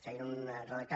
feien un redactat